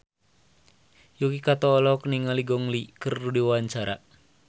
Yuki Kato olohok ningali Gong Li keur diwawancara